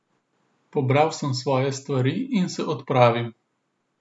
Pobral sem svoje stvari in se odpravil.